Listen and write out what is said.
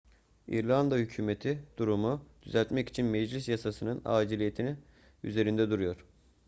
i̇rlanda hükümeti durumu düzeltmek için meclis yasasının aciliyeti üzerinde duruyor